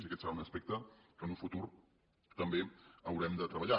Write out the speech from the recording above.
i aquest serà un aspecte que en un futur també haurem de treballar